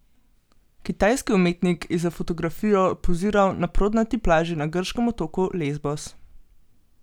Kitajski umetnik je za fotografijo poziral na prodnati plaži na grškem otoku Lesbos.